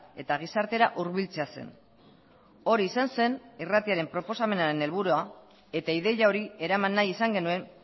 eta gizartera hurbiltzea zen hori izan zen irratiaren proposamenaren helburua eta ideia hori eraman nahi izan genuen